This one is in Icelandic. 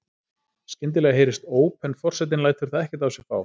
Skyndilega heyrist óp en forsetinn lætur það ekkert á sig fá.